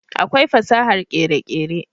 akwai fasahar kere kere